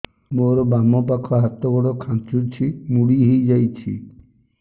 ମୋର ବାମ ପାଖ ହାତ ଗୋଡ ଖାଁଚୁଛି ମୁଡି ହେଇ ଯାଉଛି